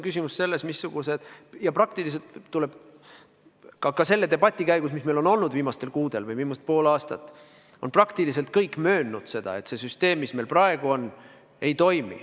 Ka selle debati käigus, mis meil on olnud viimastel kuudel või viimased pool aastat, on praktiliselt kõik möönnud seda, et see süsteem, mis meil praegu on, ei toimi.